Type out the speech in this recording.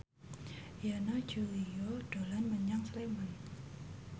Yana Julio dolan menyang Sleman